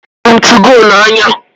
Ahụrụ m 2go n'anya